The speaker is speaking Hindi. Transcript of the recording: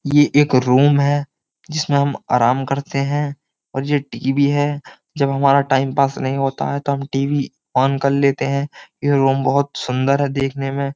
ये एक रूम है जिसमें हम आराम करते हैं और ये टी.वी. है। जब हमारा टाइमपास नहीं होता है तो हम टी.वी. ऑन कर लेते है। ये रूम बहोत सुंदर है देखने में।